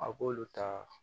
A b'olu ta